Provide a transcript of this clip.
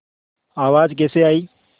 आवाज़ कैसे आई